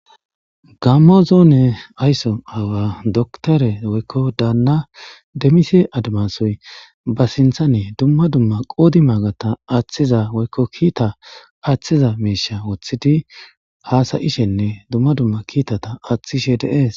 gammo zoone aysso awa dokitere woykko daanna demise admasoy ba sinthane dumma dumma qoodi maagata aaththiza woykko kiita aththiza miisha woththidi haasayishenne dumma dumma kiitata aaththishe de'ees